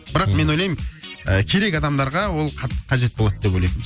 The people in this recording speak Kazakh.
бірақ мен ойлаймын ыыы керек адамдарға ол қатты қажет болады деп ойлаймын